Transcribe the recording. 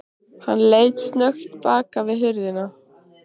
Hann leit snöggt bak við hurðina.